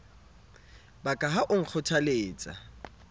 ba ka ha o nkgothaletsa